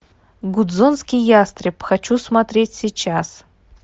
гудзонский ястреб хочу смотреть сейчас